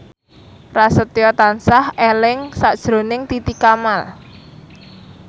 Prasetyo tansah eling sakjroning Titi Kamal